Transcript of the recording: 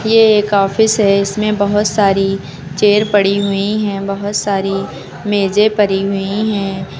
ये एक ऑफिस है। इसमें बहोत सारी चेयर पड़ी हुई हैं। बहोत सारी मेजें पड़ी हुई हैं।